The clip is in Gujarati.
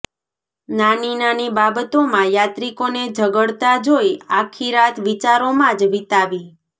નાની નાની બાબતોમાં યાત્રિકોને ઝગડતા જોઈ આખીરાત વિચારોમાં જ વિતાવી